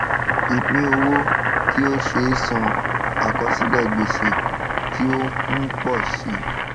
ìpínowó tí ó ṣeé san àkọsílẹ gbèsè tí ó ń pò si